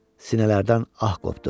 Sinələrdən ah qopdu.